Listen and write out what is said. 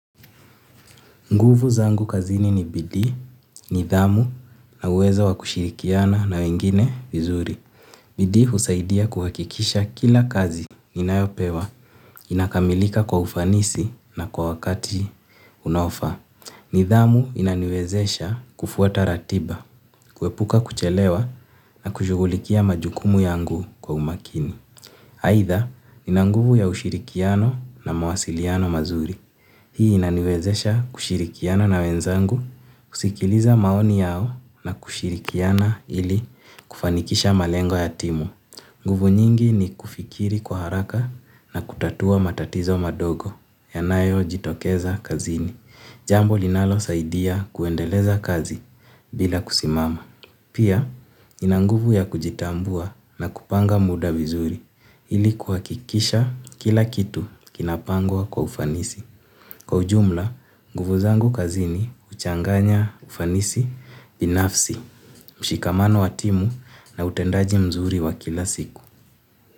Nguvu zangu kazini ni bidii, nidhamu na uwezo wa kushirikiana na wengine vizuri. Bidii husaidi kuhakikisha kila kazi ninayopewa inakamilika kwa ufanisi na kwa wakati unao faa. Nidhamu inaniwezesha kufuata ratiba, kuepuka kuchelewa na kushugulikia majukumu yangu kwa umakini. Haitha, ina nguvu ya ushirikiano na mawasiliano mazuri. Hii inaniwezesha kushirikiana na wenzangu, kusikiliza maoni yao na kushirikiana ili kufanikisha malengo ya timu. Nguvu nyingi ni kufikiria kwa haraka na kutatua matatizo madogo, yanayo jitokeza kazini. Jambo linalo saidia kuendeleza kazi, bila kusimama. Pia inanguvu ya kujitambua na kupanga muda vizuri, ili kuhakikisha kila kitu kinapangwa kwa ufanisi. Kwa ujumla, nguvu zangu kazini, uchanganya ufanisi binafsi, mshikamano wa timu na utendaji mzuri wa kila siku.